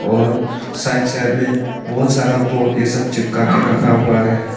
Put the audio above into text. और side side में बहुत सारा बोड ये सब चिपका के रखा हुआ है।